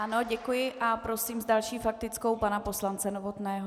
Ano, děkuji a prosím s další faktickou pana poslance Novotného.